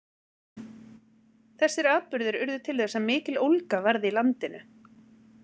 Þessir atburðir urðu til þess að mikill ólga varð í landinu.